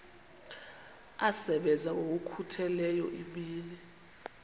asebenza ngokokhutheleyo imini